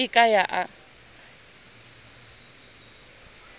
ha e a ka ya